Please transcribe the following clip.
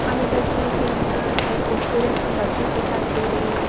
हमें तस्वीर के अंदर एक खूबसूरत सी मस्जिद दिखाई दे रही है।